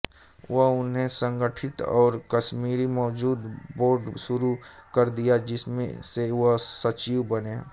वह उन्हें संगठित और कश्मीरी मजदूर बोर्ड शुरू कर दिया जिसमें से वह सचिव बने